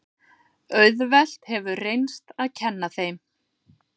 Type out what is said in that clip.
Auðvelt hefur reynst að kenna þeim.